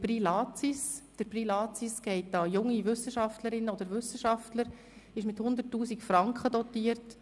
Der Latsis-Preis geht an junge Wissenschaftlerinnen und Wissenschaftler und ist mit 100 000 Franken dotiert.